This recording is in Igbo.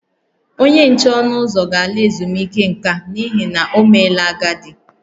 Onye nche ọnụ ụzọ ga-ala ezumike nka n’ihi na o meela agadi